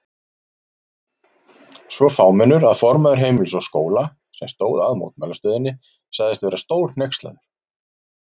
Svo fámennur að formaður Heimilis og Skóla, sem stóð að mótmælastöðunni sagðist vera stórhneykslaður.